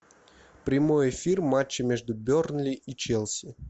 прямой эфир матча между бернли и челси